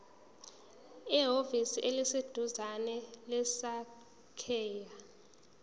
ehhovisi eliseduzane lezasekhaya